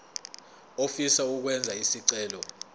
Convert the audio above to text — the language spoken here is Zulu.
ofisa ukwenza isicelo